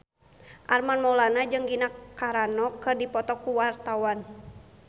Armand Maulana jeung Gina Carano keur dipoto ku wartawan